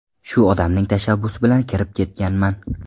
Shu odamning tashabbusi bilan kirib ketganman.